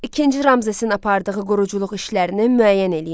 İkinci Ramzesin apardığı quruculuq işlərini müəyyən eləyin.